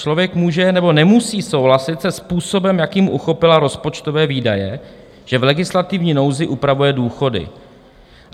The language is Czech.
Člověk může nebo nemusí souhlasit se způsobem, jakým uchopila rozpočtové výdaje, že v legislativní nouzi upravuje důchody.